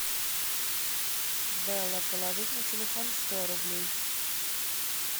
белла положить на телефон сто рублей